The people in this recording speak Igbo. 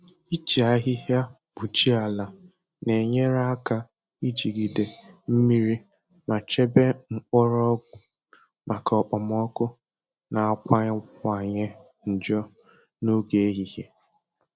Iji ahịhịa kpuchie ala na-enyere aka ijigide mmiri ma chebe mgbọrọgwụ maka okpomọkụ na-akawanye njọ n'oge ehihie